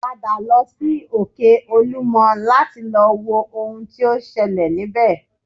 Padà lọ sí òkè olúmọ láti lọ wo ohun tí ó ń ṣẹlẹ̀ níbẹ̀